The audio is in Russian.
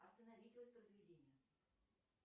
остановить воспроизведение